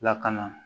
Lakana